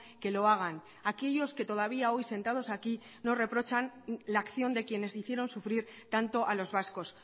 que lo hagan aquellos que todavía hoy sentados aquí no reprochan la acción de quienes hicieron sufrir tanto a los vascos